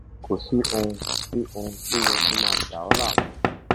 kò sí ohun sí ohun tó yẹ kó máa dà ọ láàmú